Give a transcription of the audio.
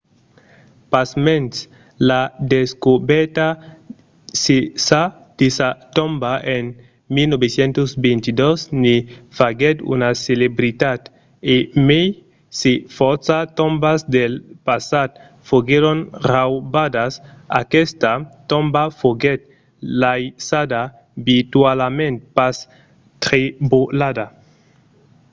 pasmens la descobèrta de sa tomba en 1922 ne faguèt una celebritat. e mai se fòrça tombas del passat foguèron raubadas aquesta tomba foguèt laissada virtualament pas trebolada